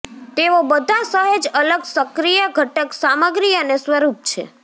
તેઓ બધા સહેજ અલગ સક્રિય ઘટક સામગ્રી અને સ્વરૂપ છે